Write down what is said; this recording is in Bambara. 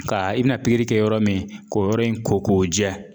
Ka i bi na pikiri kɛ yɔrɔ min k'o yɔrɔ in ko k'o jɛ